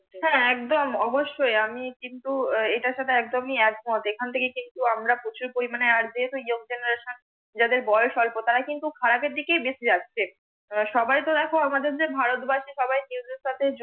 হ্যাঁ একদম অবশ্যই আমি কিন্তু এটার সাথে একদমি একমত। এখন থেকে কিন্তু আমরা প্রচুর পরিমানে আর যেহেতু YOUNG GENERATION যাদের বয়স অল্প তারা কিন্তু খারাপের দিকেই বেশি যাচ্ছে। সবাই তো দেখো আমাদের ভারত বর্ষে সবাই সাথে যুক্ত।